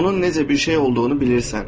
Onun necə bir şey olduğunu bilirsən.